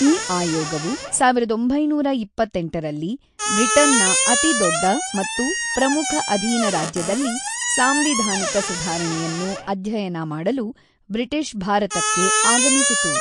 ಈ ಆಯೋಗವು ಸಾವಿರದ ಒಂಬೈನೂರ ಇಪ್ಪತ್ತೆಂಟರಲ್ಲಿ ಬ್ರಿಟನ್‌ನ ಅತಿದೊಡ್ಡ ಮತ್ತು ಪ್ರಮುಖ ಅಧೀನ ರಾಜ್ಯದಲ್ಲಿ ಸಾಂವಿಧಾನಿಕ ಸುಧಾರಣೆಯನ್ನು ಅಧ್ಯಯನ ಮಾಡಲು ಬ್ರಿಟಿಷ್ ಭಾರತಕ್ಕೆ ಆಗಮಿಸಿತು.